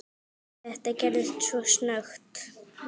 Þetta gerðist svo snöggt.